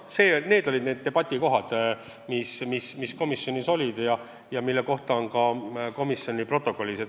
Need olid teemad, mis komisjonis arutusel olid ja mis kajastuvad ka istungi protokollis.